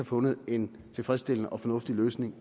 fundet en tilfredsstillende og fornuftig løsning